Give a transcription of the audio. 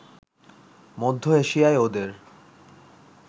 মধ্য এশিয়ায় ওদের